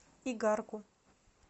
игарку